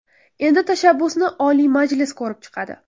Endi tashabbusni Oliy Majlis ko‘rib chiqadi.